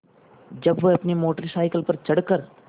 जब वह अपनी मोटर साइकिल पर चढ़ कर